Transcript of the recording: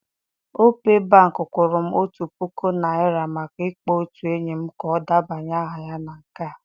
Opay bank kwụrụ m otu puku naira maka ịkpọ otu enyi m ka ọ debanye aha na nke ha.